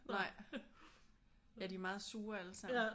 Nej ja de er meget sure alle sammen